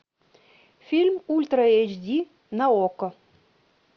фильм ультра эйч ди на окко